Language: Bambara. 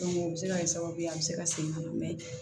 o bɛ se ka kɛ sababu ye a bɛ se ka segin ka na